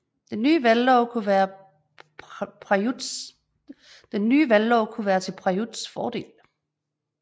Den ny valglov kunne være til Prayuts fordel